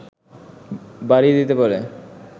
বাড়িয়ে দিতে পারে